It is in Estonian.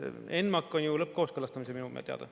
ENMAK on ju lõppkooskõlastamisel minu teada.